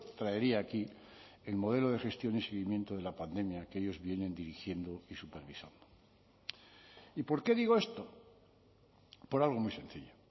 traería aquí el modelo de gestión y seguimiento de la pandemia que ellos vienen dirigiendo y supervisando y por qué digo esto por algo muy sencillo